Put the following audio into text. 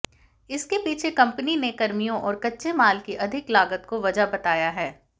इसके पीछे कंपनी ने कर्मियों और कच्चे माल की अधिक लागत को वजह बताया है